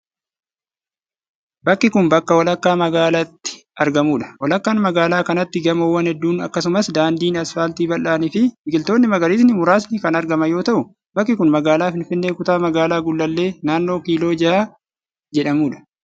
Bakki kun, bakka walakkaa magaalaatti argamuu dha. Walakkaa magaalaa kanaatti gamoowwan hedduun akkasumas daandiin asfaaltii bal'aan fi biqiltoonni magariisni muraasni kan argaman yoo ta'u, bakki kun magaalaa Finfinnee, kutaa magaalaa Gullallee, naannoo Kiiloo Jaha jedhamuu dha.